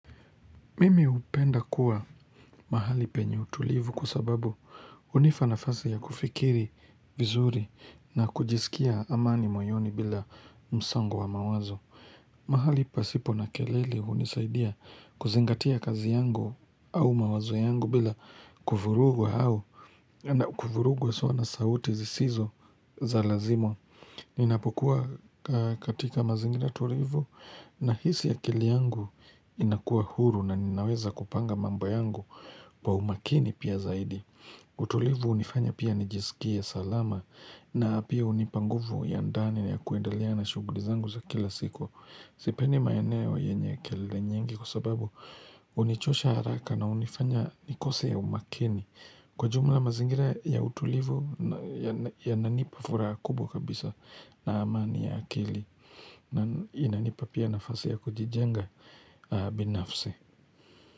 Mimi upenda kuwa mahali penye utulivu kwa sababu unipa nafasi ya kufikiri vizuri na kujisikia amani moyoni bila msongo wa mawazo. Mahali pasipo na kelele unisaidia kuzingatia kazi yangu au mawazo yangu bila kufurugu hao. Na kufuruguwa soa na sauti zisizo za lazima Ninapokuwa katika mazingira tulivu Nahisi ya kili yangu inakuwa huru na ninaweza kupanga mambo yangu Kwa umakini pia zaidi utulivu unifanya pia nijisikia salama na pia unipa nguvu ya ndani ya kuendalea na shughuli zangu za kila siku Sipendi maeneo wa yenye ya kili nyingi kwa sababu Unichosha haraka na unifanya nikose ya umakini Kwa jumla mazingira ya utulivu ya nanipa furaha kubwa kabisa na amani ya akili na inanipa pia nafasi ya kujijenga binafsi.